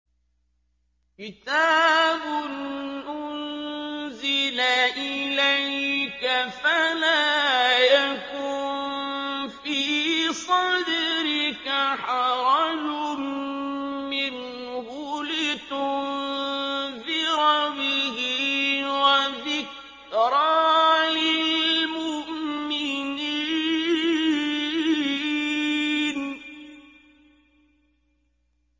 كِتَابٌ أُنزِلَ إِلَيْكَ فَلَا يَكُن فِي صَدْرِكَ حَرَجٌ مِّنْهُ لِتُنذِرَ بِهِ وَذِكْرَىٰ لِلْمُؤْمِنِينَ